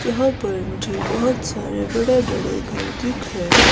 जहां पर मुझे बहुत सारे बड़े-बड़े घर देख रहे हैं।